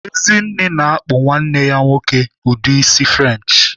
Ezinne na-akpụ nwanne ya nwoke ụdị isi French.